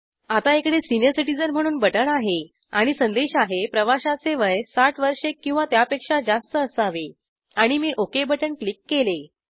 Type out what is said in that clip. आता इकडे senior citizen म्हणून बटण आहे आणि संदेश आहे प्रवाशाचे वय ६० वर्षे किंवा त्यापेक्षा जास्त असावे आणि मी ओके बटण क्लिक केले